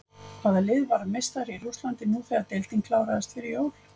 Hvaða lið varð meistari í Rússlandi nú þegar deildin kláraðist fyrir jól?